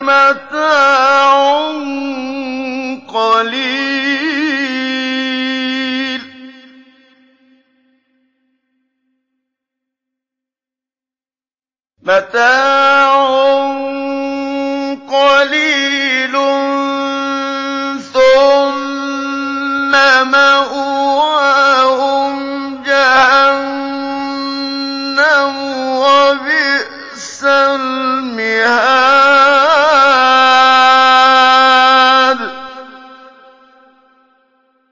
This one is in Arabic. مَتَاعٌ قَلِيلٌ ثُمَّ مَأْوَاهُمْ جَهَنَّمُ ۚ وَبِئْسَ الْمِهَادُ